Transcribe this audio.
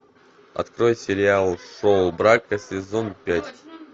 открой сериал шоу брака сезон пять